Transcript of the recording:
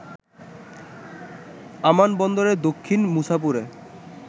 আমান বন্দরের দক্ষিণ মুছাপুরে